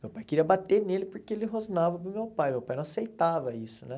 Meu pai queria bater nele porque ele rosnava para o meu pai, meu pai não aceitava isso, né?